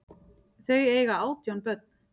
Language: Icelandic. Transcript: Þau eiga átján börn.